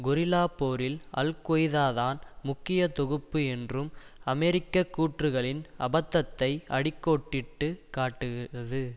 கொரில்லாப் போரில் அல் கொய்தாதான் முக்கிய தொகுப்பு என்றும் அமெரிக்க கூற்றுக்களின் அபத்தத்தை அடி கோடிட்டு காட்டுகிறது